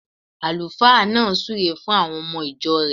Àlùfáà náà súre fun àwon omo ìjo rẹ̀